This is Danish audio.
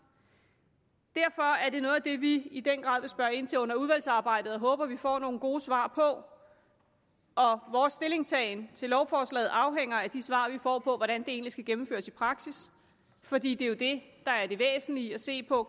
derfor er det noget af det vi i den grad vil spørge ind til under udvalgsarbejdet og håber at vi får nogle gode svar på og vores stillingtagen til lovforslaget afhænger af de svar vi får på hvordan det egentlig skal gennemføres i praksis fordi det jo er det der er det væsentlige at se på